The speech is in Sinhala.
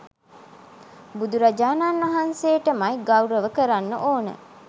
බුදුරජාණන් වහන්සේටමයි ගෞරව කරන්න ඕන.